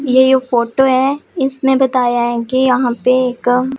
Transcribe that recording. ये फोटो है इसमें बताया है कि यहां पे एक--